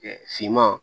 finman